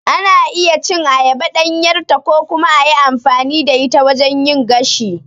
Ana iya cin ayaba ɗanyarta ko kuma a yi amfani da ita wajen yin gashi.